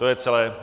To je celé.